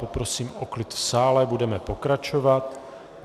Poprosím o klid v sále, budeme pokračovat.